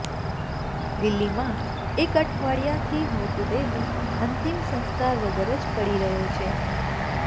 દિલ્હીમાં એક અઠવાડિયાથી મૃતદેહ અંતિમ સંસ્કાર વગર જ પડી રહ્યો છે